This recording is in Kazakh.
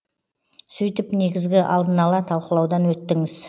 сөйтіп негізгі алдын ала талқылаудан өттіңіз